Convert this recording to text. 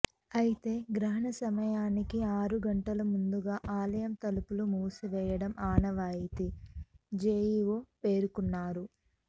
అయితే గ్రహణ సమయానికి ఆరు గంటల ముందుగా ఆలయం తలుపులు మూసివేయడం ఆనవాయితీ జెఇఒ పేర్కొన్నారు